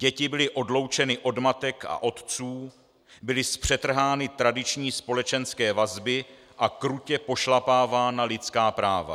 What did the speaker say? Děti byly odloučeny od matek a otců, byly zpřetrhány tradiční společenské vazby a krutě pošlapávána lidská práva.